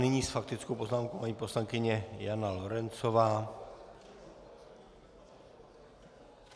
Nyní s faktickou poznámkou paní poslankyně Jana Lorencová.